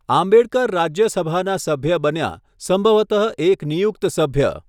આંબેડકર રાજ્યસભાના સભ્ય બન્યા, સંભવતઃ એક નિયુક્ત સભ્ય.